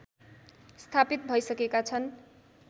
स्थापित भइसकेका छन्